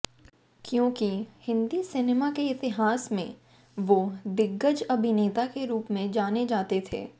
क्योंकि हिंदी सिनेमा के इतिहास में वो दिग्गज अभिनेता के रूप में जाने जाते थे